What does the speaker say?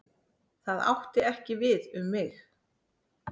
Það átti ekki við um mig.